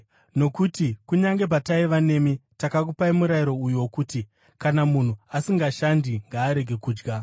Nokuti kunyange pataiva nemi, takakupai murayiro uyu wokuti: “Kana munhu asingashandi, ngaarege kudya.”